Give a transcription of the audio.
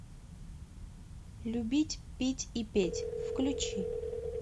любить пить и петь включи